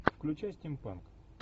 включай стимпанк